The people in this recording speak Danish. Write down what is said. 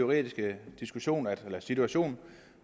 regering